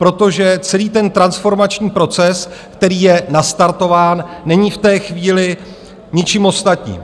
Protože celý ten transformační proces, který je nastartován, není v té chvíli ničím ostatním.